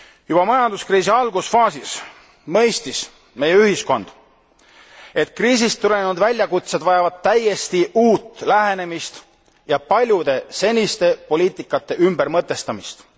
Juba majanduskriisi algusfaasis mõistis meie ühiskond, et kriisist tulenenud väljakutsed vajavad täiesti uut lähenemist ja paljude seniste poliitikate ümbermõtestamist.